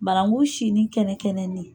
Barangu sinni kɛnɛ kɛnɛni.